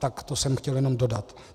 Tak to jsem chtěl jenom dodat.